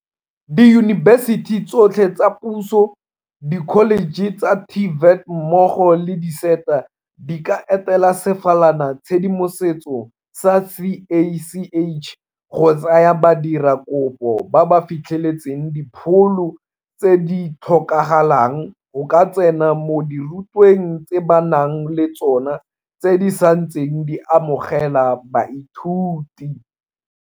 Diyunibesiti tsotlhe tsa puso, dikholeje tsa TVET mmogo le di-SETA di ka etela sefalanatshedimoso sa CACH go tsaya badiradikopo ba ba fitlheletseng dipholo tse di tlhokagalang go ka tsena mo dirutweng tse ba nang le tsona tse di santseng di amogela baithuti.